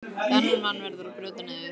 Þennan mann verður að brjóta niður.